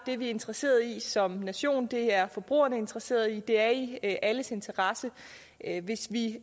det er vi interesseret i som nation det er forbrugerne interesseret i det er i alles interesse hvis vi